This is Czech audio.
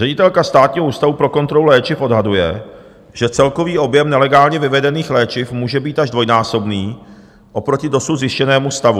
Ředitelka Státního ústavu pro kontrolu léčiv odhaduje, že celkový objem nelegálně vyvedených léčiv může být až dvojnásobný oproti dosud zjištěnému stavu.